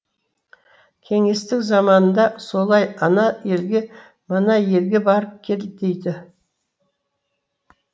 кеңестік заманында солай ана елге мына елге барып кел дейді